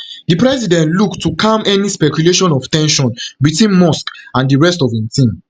di president look to calm any speculation of ten sion between musk and di rest of im team